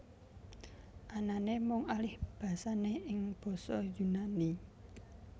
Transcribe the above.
Anané mung alihbasané ing basa Yunani